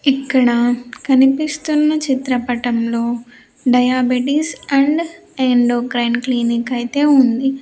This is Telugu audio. ఇక్కడ కనిపిస్తున్న చిత్రపటంలో డయాబెటిస్ అండ్ ఎండోక్రైన్ క్లినిక్ అయితే ఉంది.